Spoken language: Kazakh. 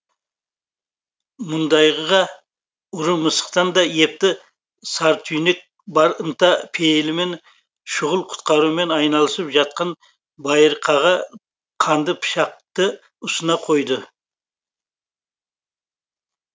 мұндайға ұры мысықтан да епті сартүйнек бар ынта пейілімен шұғыл құтқарумен айналысып жатқан байырқаға қанды пышақты ұсына қойды